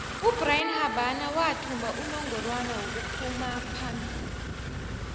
ubrian habana wathumba inongorwana wokuphumaphombili